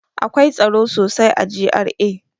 Akwai tsaro sosai a GRA.